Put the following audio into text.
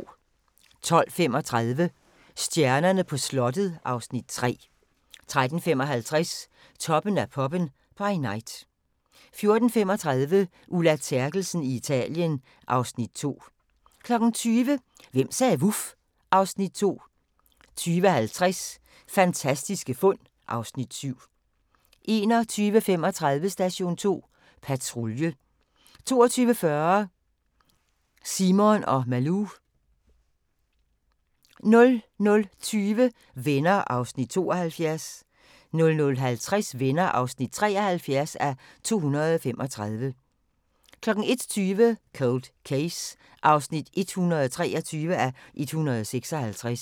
12:35: Stjernerne på slottet (Afs. 3) 13:55: Toppen af poppen – by night 14:35: Ulla Terkelsen i Italien (Afs. 2) 20:00: Hvem sagde vuf? (Afs. 2) 20:50: Fantastiske fund (Afs. 7) 21:35: Station 2 Patrulje 22:40: Simon & Malou 00:20: Venner (72:235) 00:50: Venner (73:235) 01:20: Cold Case (123:156)